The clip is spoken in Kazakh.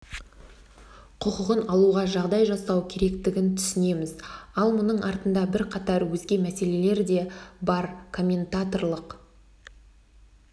құқығын алуға жағдай жасау керектігін түсінеміз ал мұның артында бірқатар өзге мәселелер де ба комментаторлық